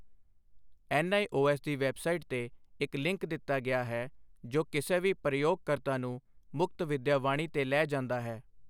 NIOS ਦੀ website ਤੇ ਇੱਕ ਲਿੰਕ ਦਿੱਤਾ ਗਿਆ ਹੈ ਜੋ ਕਿਸੇ ਵੀ ਪ੍ਰਯੋਗਕਰਤਾ ਨੂੰ ਮੁਕਤ ਵਿਦਿਆ ਵਾਣੀ ਤੇ ਲੈ ਜਾਂਦਾ ਹੈ।